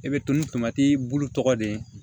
E bɛ to ni tomati bulu tɔgɔ de ye